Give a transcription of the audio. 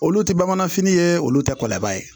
Olu tɛ bamanan fini ye olu tɛ kɔlɔnba ye